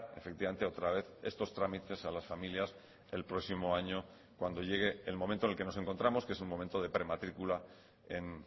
efectivamente otra vez estos trámites a las familias el próximo año cuando llegue el momento en el que nos encontramos que es un momento de prematrícula en